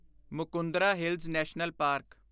Mukundra hills national park